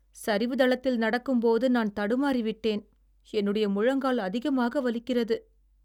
சரிவுதளத்தில் நடக்கும்போது நான் தடுமாறிவிட்டேன். என்னுடைய முழங்கால் அதிகமாக வலிக்கிறது.